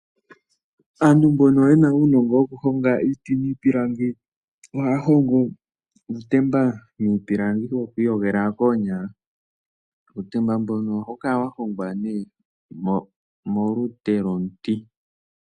Aantu mbono ye na uunongo wokuhonga iiti niipilangi ohaya hongo uutemba niipilangi woku iyogela koonyala. Uutemba mbuno ohawu kala wa hongwa nee molute lwomuti.